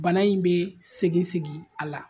Bana in bɛ segin segin a la